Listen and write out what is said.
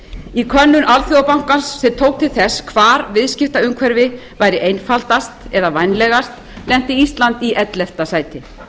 í könnun alþjóðabankans sem tók til þess hvar viðskiptaumhverfi væri einfaldast eða vænlegast lenti ísland í ellefta sæti